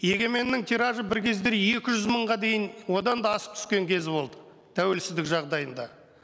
егеменнің тиражы бір кездері екі жүз мыңға дейін одан да асып түскен кезі болды тәуелсіздік жағдайында